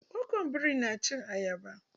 Gogon biri na cin ayaba.